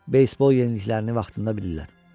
Beysbol yeniliklərini vaxtında bilirlər.